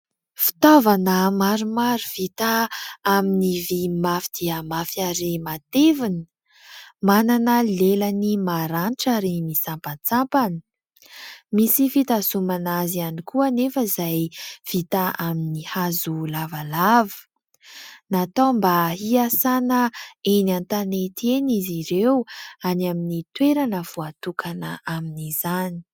Fitaovana maromaro vita amin'ny vy mafy dia mafy ary matevina. Manana lelany maranitra ary misampantsampana. Misy fitazomana azy ihany koa anefa, izay vita amin'ny hazo lavalava. Natao mba hiasana eny an-tanety eny izy ireo, any amin'ny toerana voatokana amin'izany.